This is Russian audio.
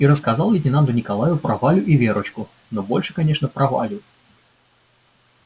и рассказал лейтенанту николаю про валю и верочку но больше конечно про валю